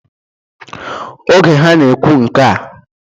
Oge ha na-ekwu nkea